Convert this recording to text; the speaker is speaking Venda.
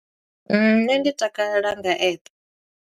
Nṋe ndi takalela nga app.